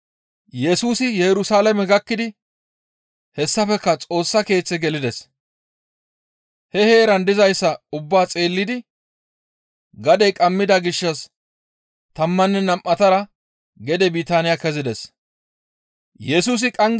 Yesusi Yerusalaame gakkidi hessafekka Xoossa Keeththe gelides. He heeran dizayssa ubbaa xeellidi gadey qammida gishshas tammanne nam7atara gede Bitaaniya kezides.